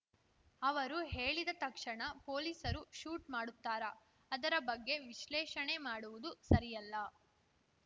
ಅವರು ಹೇಳಿದ ತಕ್ಷಣ ಪೊಲೀಸರು ಶೂಟ್‌ ಮಾಡುತ್ತಾರಾ ಅದರ ಬಗ್ಗೆ ವಿಶ್ಲೇಷಣೆ ಮಾಡುವುದು ಸರಿಯಲ್ಲ